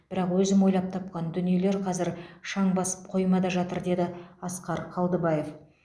бірақ өзім ойлап тапқан дүниелер қазір шаң басып қоймада жатыр деді асқар қалдыбаев